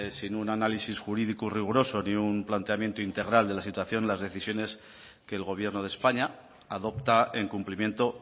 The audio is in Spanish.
sin un análisis jurídico riguroso ni un planteamiento integral de la situación las decisiones que el gobierno de españa adopta en cumplimiento